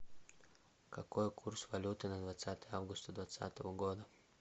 какой курс валюты на двадцатое августа двадцатого года